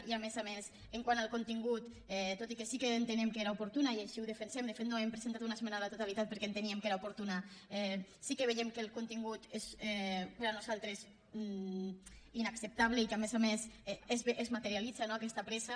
i a més a més quant al contingut tot i que sí que entenem que era oportuna i així ho defensem de fet no hem presentat una esmena a la totalitat perquè enteníem que era oportuna sí que veiem que el contingut és per nosaltres inacceptable i que a més a més es materialitza aquesta pressa